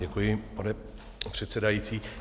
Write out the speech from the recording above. Děkuji, pane předsedající.